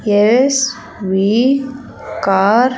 Yes V car .